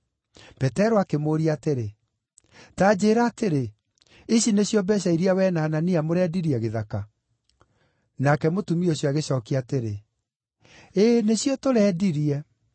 Petero akĩmũũria atĩrĩ, “Ta njĩĩra atĩrĩ, ici nĩcio mbeeca iria wee na Anania mũrendirie gĩthaka?” Nake mũtumia ũcio agĩcookia atĩrĩ, “Ĩĩ, nĩcio tũrendirie.”